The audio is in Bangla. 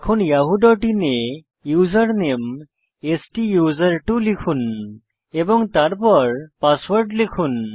এখন yahooআইএন এ ইউজার নেম স্তুসের্ত্ব লিখুন এবং তারপর পাসওয়ার্ড লিখুন